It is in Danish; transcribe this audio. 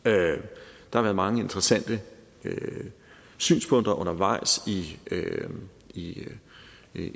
der har været mange interessante synspunkter undervejs i